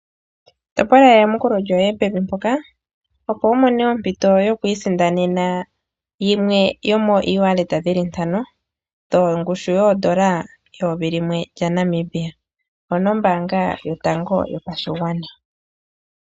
Mona eyamukulo lyoye pevi mpoka opo wumone ompito yokwiisindanena yimwe mooEwallet dhili ntano mongushu N$1000 onombaanga yotango yopashigwana.